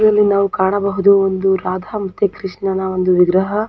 ಇಲ್ಲಿ ನಾವು ಕಾಣಬಹುದು ಒಂದು ರಾಧಾ ಮತ್ತು ಕೃಷ್ಣನ ಒಂದು ವಿಗ್ರಹ.